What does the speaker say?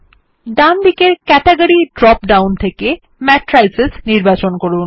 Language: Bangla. ডানদিকের ক্যাটেগরি ড্রপ ডাউন থেকে ম্যাট্রিস নির্বাচন করুন